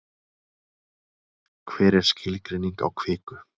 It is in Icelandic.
hver er skilgreining á kviku